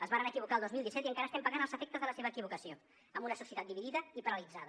es varen equivocar el dos mil disset i encara estem pagant els efectes de la seva equivocació amb una societat dividida i paralitzada